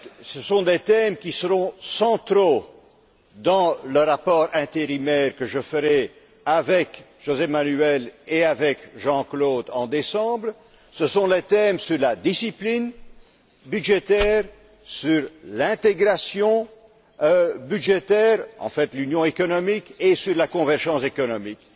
Ce sont des thèmes qui seront centraux dans le rapport intérimaire que je ferai en décembre avec José Manuel Barroso et avec Jean Claude Juncker. Ce sont les thèmes sur la discipline budgétaire, sur l'intégration budgétaire, en fait l'Union économique, et sur la convergence économique.